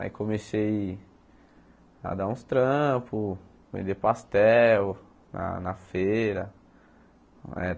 Aí comecei a dar uns trampos, vender pastel na na feira. Eh